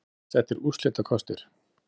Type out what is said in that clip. Grant settir úrslitakostir